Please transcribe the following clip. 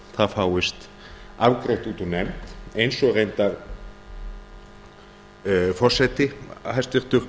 það fáist afgreitt út úr nefnd eins og reyndar forseti hæstvirtur